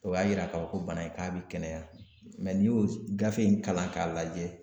O y'a yira k'a fɔ ko bana in k'a bɛ kɛnɛya n'i y'o gafe in kalan k'a lajɛ